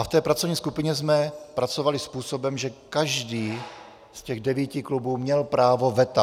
A v té pracovní skupině jsme pracovali způsobem, že každý z těch devíti klubů měl právo veta.